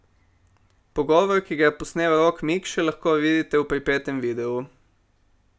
Pogovor, ki ga je posnel Rok Mikše, lahko vidite v pripetem videu.